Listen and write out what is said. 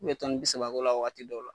K'u bɛ toni bi saba k'o la wagati dɔw la.